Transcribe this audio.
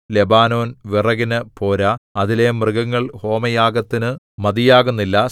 Lebanon വിറകിനു പോരാ അതിലെ മൃഗങ്ങൾ ഹോമയാഗത്തിനു മതിയാകുന്നില്ല